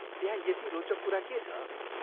त्यहाँ यति रोचक कुरा के छ?